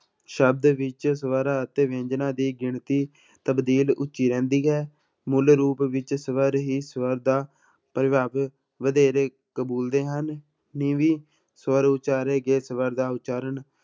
ਸ਼ਬਦ ਵਿੱਚ ਸਵਰ ਅਤੇ ਵਿਅੰਜਨਾਂ ਦੀ ਗਿਣਤੀ ਤਬਦੀਲ ਉੱਚੀ ਰਹਿੰਦੀ ਹੈ, ਮੁੱਲ ਰੂਪ ਵਿੱਚ ਸਵਰ ਹੀ ਸਵਰ ਦਾ ਪ੍ਰਭਾਵ ਵਧੇਰੇ ਕਬੂਲਦੇ ਹਨ, ਨੀਵੀਂ ਸਵਰ ਉਚਾਰੇ ਗਏ ਸਵਰ ਦਾ ਉਚਾਰਨ